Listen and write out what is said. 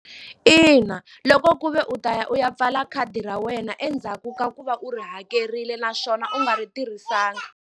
Ina loko ku ve u ta ya u ya pfala khadi ra wena endzhaku ka ku va u ri hakerile naswona u nga ri tirhisanga.